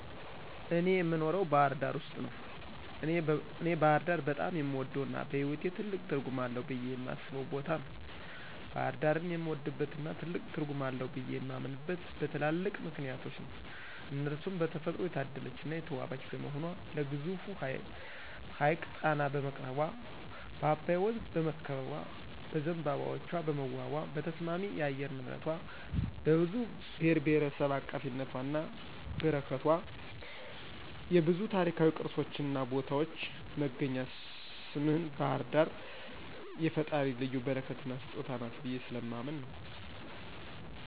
እኔ የኖረው ባህርዳር ውስጥ ነው። እኔ ባህርዳር በጣም የምወደው እና በህይዎቴ ትልቅ ትርጉም አለው ብየ የማስበው ቦታ ነው። ባሕርዳርን የምወድበትና ትልቅ ትርጉም አለው ብየ የማምነበት በትላልቅ ምክንያቶች ነው እነርሱም በተፈጥሮ የታደለች እና የተዋበች በመሆኗ ለግዙፉ ሀይቅ ጣና በመቅረቧ፣ በአባይ ወንዝ በመከበቧ፣ በዝንባባዎቿ በመዋቧ፣ በተስማሚ የአየር ንብረቷ፣ በብዙ ብሔርብሔረሰብ አቃፊነቷና በረከቷ፣ የብዙ ታሪካዊ ቅርሶችን ቦታዎች መገኛ ስምህን ባህርዳር የፈጣሪ ልዩ በረከትና ስጦታ ናት ብየ ስለማምን ነው።